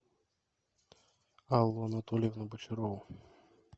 аллу анатольевну бочарову